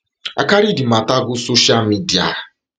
i carry di mata go social media